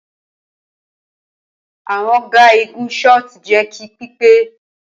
Awọn ga igun shot jẹ ki pipe